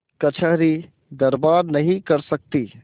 कचहरीदरबार नहीं कर सकती